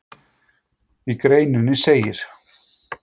Í greininni segir